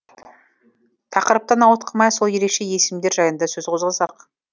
тақырыптан ауытқымай сол ерекше есімдер жайында сөз қозғасақ